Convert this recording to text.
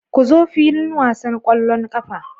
Ku zo filin wasan ƙwallon ƙafa.